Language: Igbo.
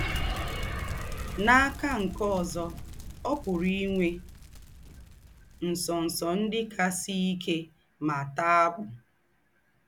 N’akà nke ózọ, ọ́ pùrù í nwè ńsọ̀nsọ̀ ńdị́ kà sìé íkè mà taà àkpù.